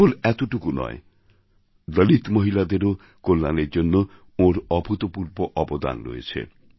কেবল এতটুকু নয় দলিত মহিলাদেরও কল্যাণের জন্য ওঁর অভূতপূর্ব অবদান রয়েছে